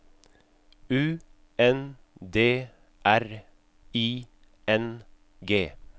U N D R I N G